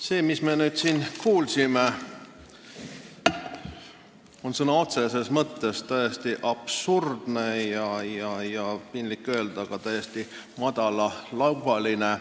See jutt, mida me nüüd siin kuulsime, on sõna otseses mõttes absurdne ja, piinlik öelda, ka täiesti madalalaubaline.